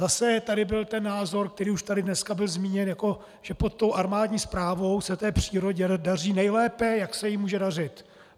Zase tady byl ten názor, který už tady dneska byl zmíněn, jako že pod tou armádní správou se té přírodě daří nejlépe, jak se jí může dařit.